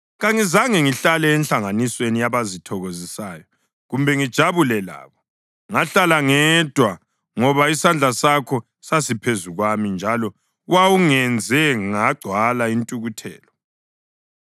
Kangizange ngihlale enhlanganisweni yabazithokozisayo, kumbe ngijabule labo; ngahlala ngedwa ngoba isandla sakho sasiphezu kwami njalo wawungenze ngagcwala intukuthelo.